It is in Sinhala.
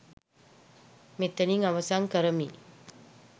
මෙතනින් අවසන් කරමි.